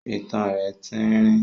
itan rẹ̀ tín-ín-rín.